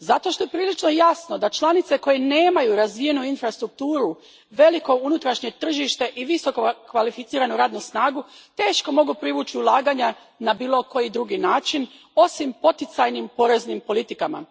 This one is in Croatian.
Zato što je prilično jasno da članice koje nemaju razvijenu infrastrukturu, veliko unutrašnje tržište i visokokvalificiranu radnu snagu teško mogu privući ulaganja na bilo koji drugi način osim poticajnim poreznim politikama.